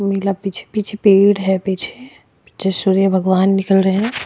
मिला पीछे पीछे पेड़ है पीछे पीछे सूर्य भगवान निकल रहे हैं।